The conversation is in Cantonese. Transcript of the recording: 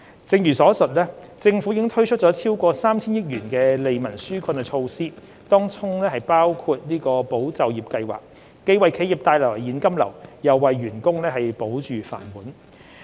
正如上述，政府已推出超過 3,000 億元的利民紓困措施，當中包括"保就業"計劃，既為企業帶來現金流，又為員工保住"飯碗"。